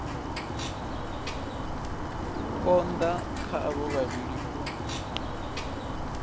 konda kha avho vhavhili u